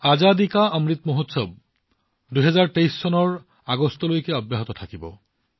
আজাদী কা অমৃত মহোৎসৱ অহা বছৰ অৰ্থাৎ আগষ্ট ২০২৩ লৈকে অব্যাহত থাকিব